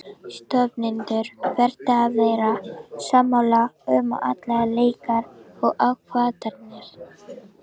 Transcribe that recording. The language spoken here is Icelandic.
Stofnendur verða að vera sammála um allar líkar ákvarðanir.